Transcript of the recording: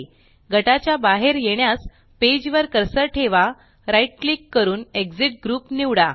गटाच्या बाहेर येण्यास पेज वर कर्सर ठेवा right क्लिक करून एक्सिट ग्रुप निवडा